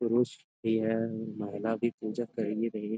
पुरुष भी है महिला भी पूजा करिये रही है।